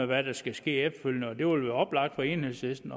hvad der skal ske efterfølgende og det vil oplagt for enhedslisten